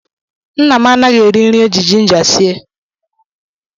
Nna m anaghị eri nri eji jinja sie.